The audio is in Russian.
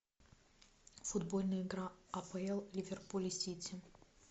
футбольная игра апл ливерпуль и сити